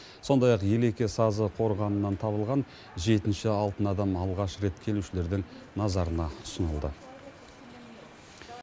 сондай ақ елеке сазы қорғанынан табылған жетінші алтын адам алғаш рет келушілердің назарына ұсынылды